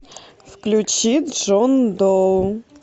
включи джон доу